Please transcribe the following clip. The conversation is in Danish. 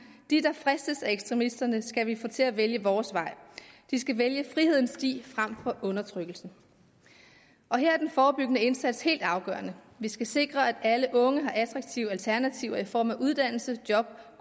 de der fristes af ekstremisterne skal vi få til at vælge vores vej de skal være frihedens sti frem for undertrykkelsens her er den forebyggende indsats helt afgørende vi skal sikre at alle unge har attraktive alternativer i form af uddannelse job